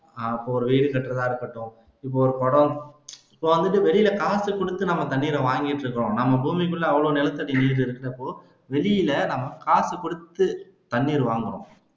அஹ் இப்ப ஒரு வீடு கட்டுறதா இருக்கட்டும் இப்ப ஒரு குடம் இப்ப அங்க வெளில காசு குடுத்து நம்ம தண்ணீரை வாங்கிட்டு இருக்கோம் நம்ம பூமிக்குள்ள அவ்வளவு நிலத்தடி நீர் இருக்கிறப்போ வெளியில நம்ம காசு குடுத்து தண்ணீர் வாங்குறோம்